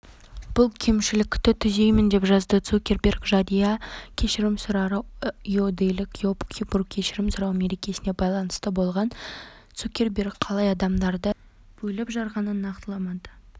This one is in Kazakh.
бұл кемшілікті түзеймін деп жазды цукерберг жария кешірім сұрау иудейлік йом-киппур кешірім сұрау мерекесіне байланысты болған цукерберг қалай адамдарды бөліп-жарғанын нақтыламады